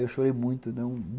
Eu chorei muito.